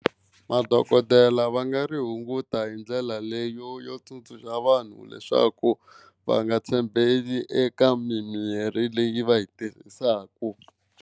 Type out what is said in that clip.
Madokodela va nga ri hunguta hi ndlela leyo yo tsundzuxa vanhu leswaku va nga tshembeli eka mimirhi leyi va yi tirhisaka.